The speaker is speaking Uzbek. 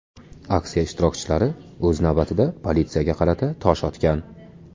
Aksiya ishtirokchilari, o‘z navbatida, politsiyaga qarata tosh otgan.